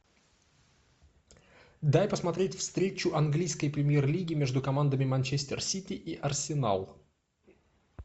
дай посмотреть встречу английской премьер лиги между командами манчестер сити и арсенал